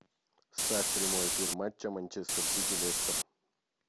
ставь прямой эфир матча манчестер сити лестер